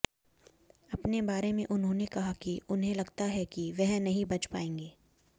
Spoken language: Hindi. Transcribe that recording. अपने बारे में उन्होंने कहा कि उन्हें लगता है कि वह नहीं बच पाएंगे